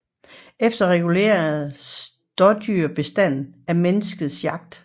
Ellers reguleres dådyrbestanden af menneskets jagt